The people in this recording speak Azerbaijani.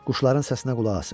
Quşların səsinə qulaq asım.